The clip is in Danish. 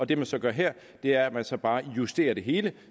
det man så gør her er at man så bare justerer det hele